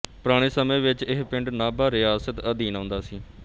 ਪੁਰਾਣੇ ਸਮੇਂ ਵਿੱਚ ਇਹ ਪਿੰਡ ਨਾਭਾ ਰਿਆਸਤ ਅਧੀਨ ਆਉਂਦਾ ਸੀ